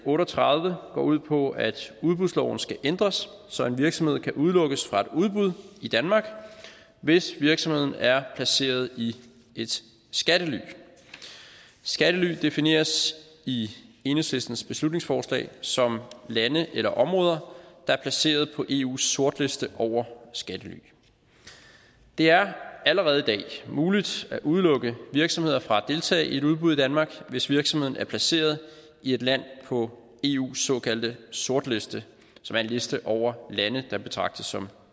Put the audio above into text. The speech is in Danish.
otte og tredive går ud på at udbudsloven skal ændres så en virksomhed kan udelukkes fra et udbud i danmark hvis virksomheden er placeret i et skattely skattely defineres i enhedslistens beslutningsforslag som lande eller områder der er placeret på eus sortliste over skattely det er allerede i dag muligt at udelukke virksomheder fra at deltage i et udbud i danmark hvis virksomheden er placeret i et land på eus såkaldte sortliste som er en liste over lande der betragtes som